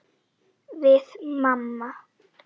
Við mamma.